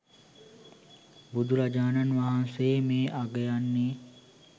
බුදුරජාණන් වහන්සේ මේ අගයන්නේ